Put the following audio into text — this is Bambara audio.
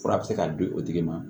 Fura bɛ se ka di o tigi ma